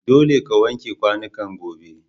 Dolle ka wanke kwanukan gobe.